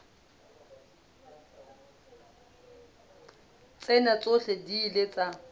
tsena tsohle di ile tsa